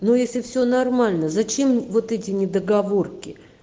ну если все нормально зачем вот эти недоговорки